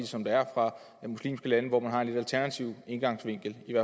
som det er fra muslimske lande hvor man har en lidt alternativ indgangsvinkel i